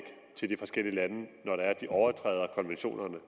til de forskellige lande når det er de overtræder konventionerne